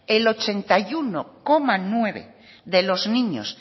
el ochenta y uno coma nueve de los niños